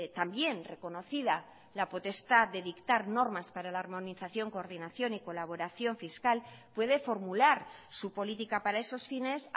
también reconocida la potestad de dictar normas para la armonización coordinación y colaboración fiscal puede formular su política para esos fines